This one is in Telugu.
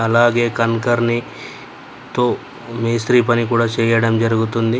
అలాగే కన్కర్ని తో మేస్త్రీ పని కూడా చేయడం జరుగుతుంది.